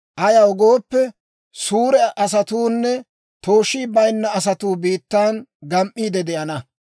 Ayaw gooppe, suure asatuunne tooshii bayinna asatuu biittan gam"iide de'ana.